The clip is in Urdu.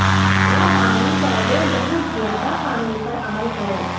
نہ پانی پودوں بہت زیادہ پانی پر عمل کرو